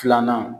Filanan